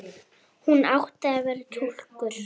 Hún átti að vera túlkur.